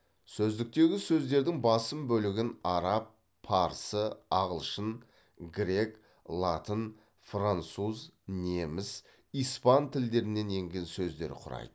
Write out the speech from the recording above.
сөздіктегі сөздердің басым бөлігін араб парсы ағылшын грек латын француз неміс испан тілдерінен енген сөздер құрайды